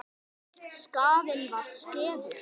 Skaðinn var skeður.